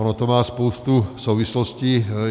Ono to má spoustu souvislostí.